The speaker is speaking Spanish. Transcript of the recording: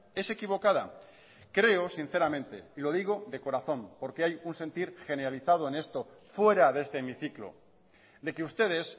es equivocada creo sinceramente y lo digo de corazón porque hay un sentir generalizado en esto fuera de este hemiciclo de que ustedes